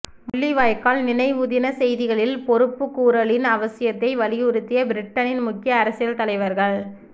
முள்ளிவாய்க்கால் நினைவுதின செய்திகளில் பொறுப்புக்கூறலின் அவசியத்தை வலியுறுத்திய பிரிட்டனின் முக்கிய அரசியல் தலைவர்கள்